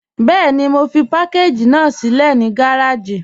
Bẹẹ̀ni, mo fi pàkàgí ná silẹ̀ ni gàràjì.